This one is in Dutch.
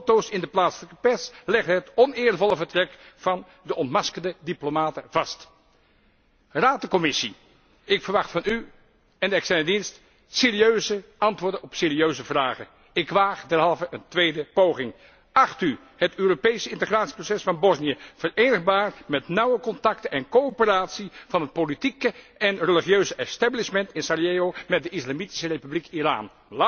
Foto´s in de plaatselijke pers legden het oneervolle vertrek van de ontmaskerde diplomaten vast. Raad en Commissie, ik verwacht van u en de externe dienst serieuze antwoorden op serieuze vragen. Ik waag derhalve een tweede poging Acht u het Europese integratieproces van Bosnië verenigbaar met nauwe contacten en coöperatie van het politieke en religieuze establishment in Sarajevo met de Islamitische Republiek Iran?